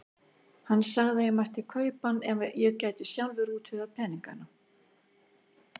Hann sagði að ég mætti kaupa hann ef ég gæti sjálfur útvegað peningana.